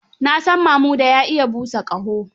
Na san Mamuda ya iya busa ƙaho.